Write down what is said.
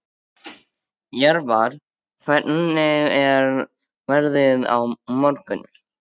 Jörvar, hvernig er veðrið á morgun?